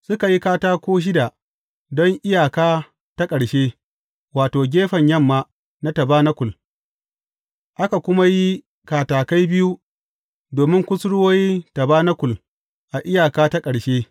Suka yi katako shida don iyaka ta ƙarshe, wato, gefen yamma na tabanakul, aka kuma yi katakai biyu domin kusurwoyi tabanakul a iyaka ta ƙarshe.